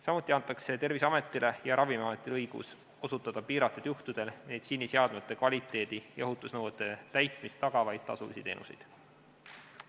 Samuti antakse Terviseametile ja Ravimiametile õigus osutada piiratud juhtudel meditsiiniseadmete kvaliteedi- ja ohutusnõuete täitmist tagavaid tasulisi teenuseid.